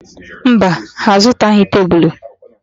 Mba, ha azụtaghị tebulu.